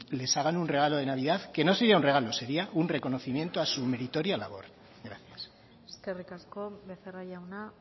les hagan un regalo de navidad que no sería un regalo sería un reconocimiento a su meritoria labor gracias eskerrik asko becerra jauna